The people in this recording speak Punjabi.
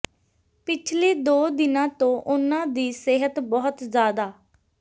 ਪਿਛਲੇ ਦੋ ਦਿਨਾਂ ਤੋਂ ਉਨ੍ਹਾਂ ਦੀ ਸਿਹਤ ਬਹੁਤ ਜ਼ਿਆਦਾ